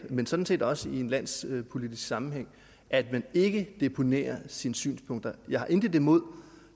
men sådan set også i en landspolitisk sammenhæng at man ikke deponerer sine synspunkter jeg har intet imod